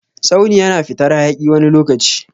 Tsauni yana fitar hayaki wani lokaci.